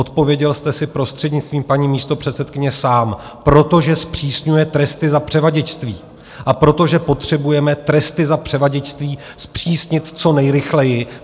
Odpověděl jste si, prostřednictvím paní místopředsedkyně, sám - protože zpřísňuje tresty za převaděčství a protože potřebujeme tresty za převaděčství zpřísnit co nejrychleji.